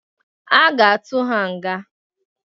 A ga-atụ ha nga.